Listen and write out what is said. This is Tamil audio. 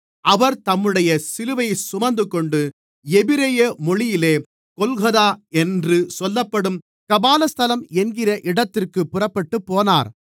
அவர் தம்முடைய சிலுவையைச் சுமந்துகொண்டு எபிரெய மொழியிலே கொல்கொதா என்று சொல்லப்படும் கபாலஸ்தலம் என்கிற இடத்திற்குப் புறப்பட்டுப்போனார்